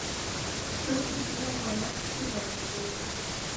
Tos' matindo boyot trizah chebet